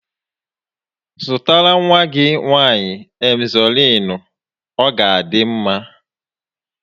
Zụtara nwa gị nwaanyị Emzọliinu, ọ ga adị mma